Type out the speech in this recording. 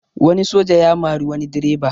Wani soja ya mari wani direba